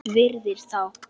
Virðir þá.